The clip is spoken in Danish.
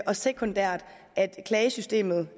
og sekundært at klagesystemet